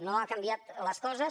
no han canviat les coses